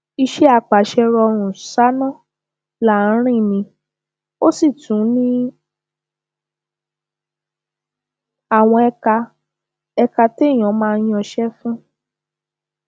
iṣẹ àpàṣe rọrùn sànán là á rìn ni ó sì tún ní àwọn ẹka ẹka téèyàn máa yanṣẹ fún